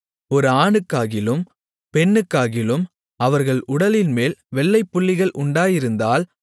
ஒரு ஆணுக்காகிலும் பெண்ணுக்காகிலும் அவர்கள் உடலின்மேல் வெள்ளைப் புள்ளிகள் உண்டாயிருந்தால்